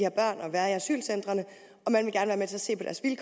være i asylcentrene